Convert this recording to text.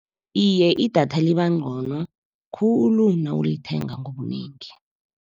Iye, idatha libancono khulu nawulithenga ngobunengi.